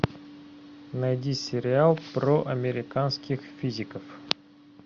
найди сериал про американских физиков